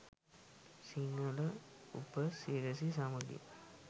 සිංහල උප සිරැසි සමඟින්